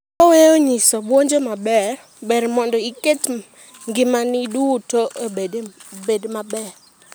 Koweyo nyiso bwonjo maber , ber mondo iket ngimani duto obed maber.